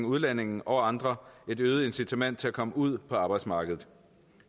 udlændinge og andre et øget incitament til at komme ud på arbejdsmarkedet